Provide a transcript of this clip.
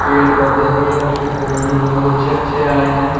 पेड़ पौधे भी है उसपे फूल भी बहोत अच्छे अच्छे आए हैं।